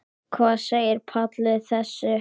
Hvað segir Páll við þessu?